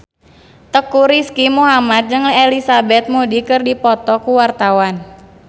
Teuku Rizky Muhammad jeung Elizabeth Moody keur dipoto ku wartawan